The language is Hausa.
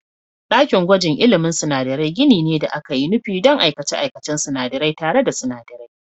Ɗakin gwajin ilmin sinadarai gini ne da aka yi nufi don aikace-aikacen sinadarai tare da sinadarai.